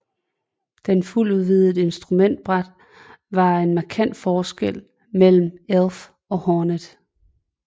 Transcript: Det fuldvidde instrumentbræt var en markant forskel mellem Elf og Hornet